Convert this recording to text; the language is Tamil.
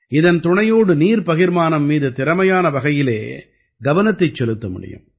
இதன் துணையோடு நீர் பகிர்மானம் மீது திறமையான வகையிலே கவனத்தைச் செலுத்த முடியும்